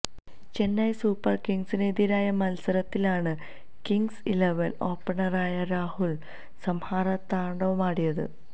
Chennai super കിംഗ്സിന് എതിരായ മത്സരത്തിലാണ് കിംഗ്സ് ഇലവന് ഓപ്പണറായ രാഹുല് സംഹാരതാണ്ഡവമാടിയത്